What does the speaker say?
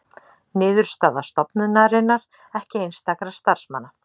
Niðurstaða stofnunarinnar ekki einstakra starfsmanna